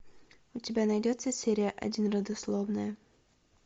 у тебя найдется серия один родословная